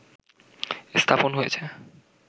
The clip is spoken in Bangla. স্থাপন হয়েছে